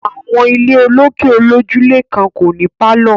Àwọn ilé olókè olójúlé kan kò ní pálọ̀